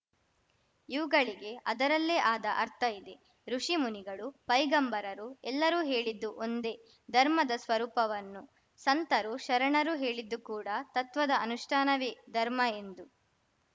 ಇವುಗಳಿಗೆ ಅದರಲ್ಲೇ ಆದ ಅರ್ಥ ಇದೆ ಋುಷಿ ಮುನಿಗಳು ಪೈಗಂಬರರು ಎಲ್ಲರೂ ಹೇಳಿದ್ದು ಒಂದೇ ಧರ್ಮದ ಸ್ವರೂಪವನ್ನು ಸಂತರು ಶರಣರು ಹೇಳಿದ್ದು ಕೂಡ ತತ್ವದ ಅನುಷ್ಠಾನವೇ ಧರ್ಮ ಎಂದು